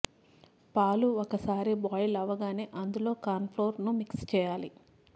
పాలు ఒకసారి బాయిల్ అవ్వగానే అందులో కార్న్ ఫ్లోర్ ను మిక్స్ చేయాలి